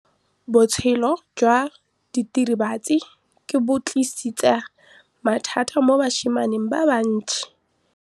Botshelo jwa diritibatsi ke bo tlisitse mathata mo basimaneng ba bantsi.